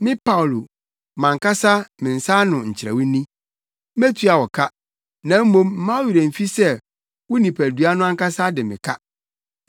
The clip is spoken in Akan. Me Paulo, mʼankasa me nsa ano nkyerɛw ni. Metua wo ka, na mmom mma wo werɛ mfi sɛ wo nipadua no ankasa de me ka.